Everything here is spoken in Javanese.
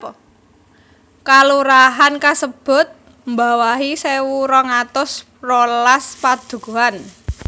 Kalurahan/Désa kasebut mbawahi sewu rong atus rolas padukuhan